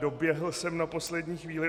Doběhl jsem na poslední chvíli.